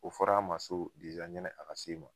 O fɔr'a ma so deza ɲani a ka s'e ma